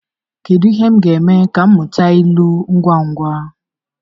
Kedu ihe m ga-eme ka m mụta ilu ngwa ngwa?